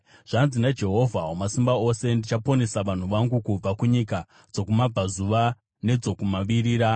Zvanzi naJehovha Wamasimba Ose: “Ndichaponesa vanhu vangu kubva kunyika dzokumabvazuva nedzokumavirira.